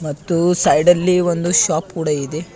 ಮತ್ತು ಸೈಡ್ ಅಲ್ಲಿ ಒಂದು ಶಾಪ್ ಕೂಡ ಇದೆ.